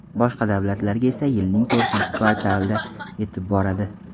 Boshqa davlatlarga esa yilning to‘rtinchi kvartalida yetib boradi.